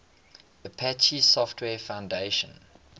apache software foundation